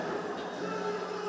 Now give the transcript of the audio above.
Vur!